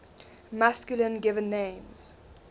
masculine given names